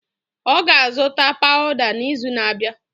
Ọ ga-azụta pawuda n'izu na-abịa.